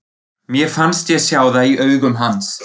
Mér fannst ég sjá það í augum hans.